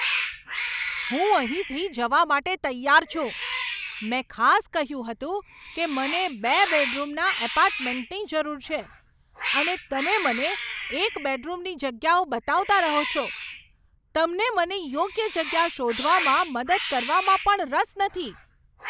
હું અહીંથી જવા માટે તૈયાર છું. મેં ખાસ કહ્યું હતું કે મને બે બેડરૂમના એપાર્ટમેન્ટની જરૂર છે, અને તમે મને એક બેડરૂમની જગ્યાઓ બતાવતા રહો છો. તમને મને યોગ્ય જગ્યા શોધવામાં મદદ કરવામાં પણ રસ નથી.